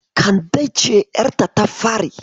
Kande ce ƴarta ta fari.